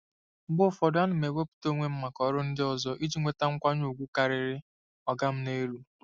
Mgbe ụfọdụ, ana m ewepụta onwe m maka ọrụ ndị ọzọ iji nweta nkwanye ùgwù karịrị “oga m n'elu.”